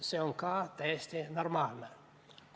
See on ka täiesti normaalne.